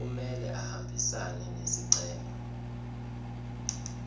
kumele ahambisane nesicelo